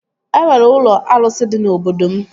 E nwere ụlọ arụsị dị na obodo m